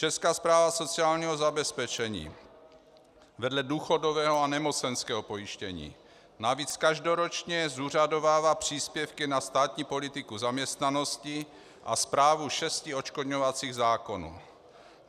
Česká správa sociálního zabezpečení vedle důchodového a nemocenského pojištění navíc každoročně zúřadovává příspěvky na státní politiku zaměstnanosti a správu šesti odškodňovacích zákonů.